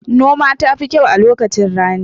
Noma tafi kyau lokacin rani